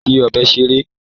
Ma ṣe fi ọbẹ ṣeré!